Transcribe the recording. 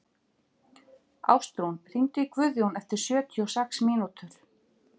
Ástrún, hringdu í Guðjón eftir sjötíu og sex mínútur.